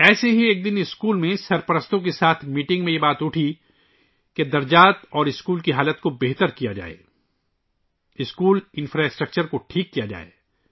ایسے ہی ایک دن اسکول میں والدین کے ساتھ میٹنگ میں یہ بات اٹھائی گئی کہ کلاس رومز اور اسکول کی حالت بہتر کی جائے، اسکول کا بنیادی ڈھانچہ د ٹھیک کیا جائے